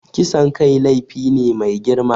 Kisan kai laifi ne mai girma.